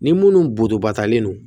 Ni munnu boto ba talen non